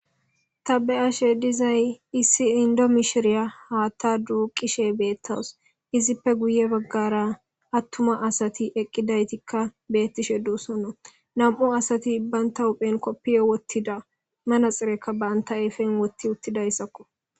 Tabe ashe dizay issi indo mishiriya haatta duuqishe beettaws izippe guye baggara attuma asati eqqidaytikka beettishe duussono nam7u asati bbaynta huphen koppiyo wottida manaxirekka banta eefen wotti uttidayssakko.